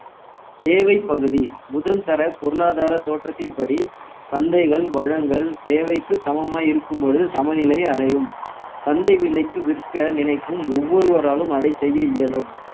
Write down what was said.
தேவை பகுதி முதல்தர பொருளாதார தோற்றத்தின்படி சந்தைகள் வளங்கள் தேவைக்கு சமமாய் இருக்கும் பொழுது சமநிலை அடையும் சந்த விலைக்கு விற்க நினைக்கும் ஒவ்வொருவராலும் அதை செய்ய இயலும்